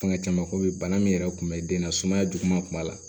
Fanga caman ko bɛ bana min yɛrɛ kun bɛ den na sumaya juguman kun b'a la